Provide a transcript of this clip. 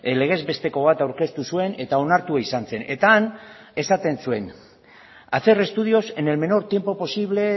legez besteko bat aurkeztu zuen eta onartua izan zen eta han esaten zuen hacer estudios en el menor tiempo posible